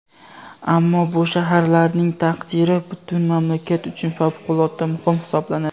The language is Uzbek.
Ammo bu shaharlarning taqdiri butun mamlakat uchun favqulodda muhim hisoblanadi.